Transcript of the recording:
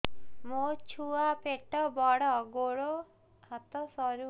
ମୋ ଛୁଆ ପେଟ ବଡ଼ ଗୋଡ଼ ହାତ ସରୁ